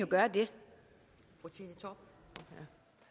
gøre det når